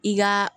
I ka